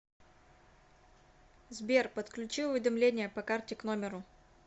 сбер подключи уведомление по карте к номеру